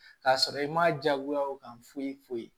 K'a sɔrɔ i ma jagoya o kan foyi foyi foyi